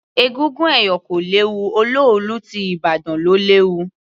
Egúngún ẹ̀yọ̀ kò léwu, olóòlù ti ìbàdàn ló léwu.